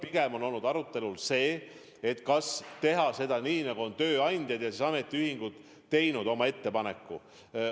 Pigem on olnud arutelul see, kas teha nii, nagu on tööandjad ja ametiühingud teinud ettepaneku.